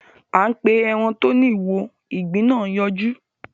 A pé èràn tó ní ìwo ìgbín nà yọjú.